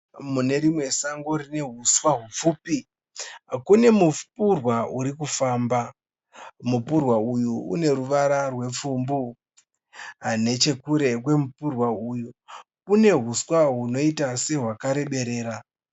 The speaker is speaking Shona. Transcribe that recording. Munerimwe sango rinehuswa hupfupi kune mupurwa urikufamba. Mupurwa uyu une ruvara rwepfumbu. Nechekure kwemupurwa uyu kune huswa hunoita sehwakareberera.